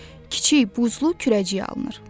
Kiçik buzlu kürəcik alınır.